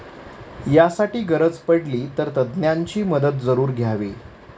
यासाठी गरज पडली, तर तज्ज्ञांची मदत जरूर घ्यावी.